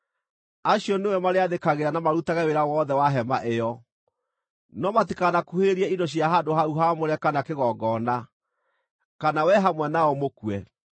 Acio nĩwe marĩathĩkagĩra na marutage wĩra wothe wa Hema ĩyo, no matikanakuhĩrĩrie indo cia handũ hau haamũre kana kĩgongona, kana wee hamwe nao mũkue.